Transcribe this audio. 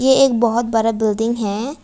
एक बहोत बड़ा बिल्डिंग है।